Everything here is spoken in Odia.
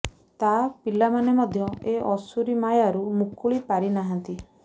ତା ପିଲାମାନେ ମଧ୍ୟ ଏ ଆସୁରୀ ମାୟାରୁ ମୁକୁଳି ପାରିନାହାନ୍ତି